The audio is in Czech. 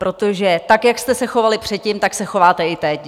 Protože tak jak jste se chovali předtím, tak se chováte i teď!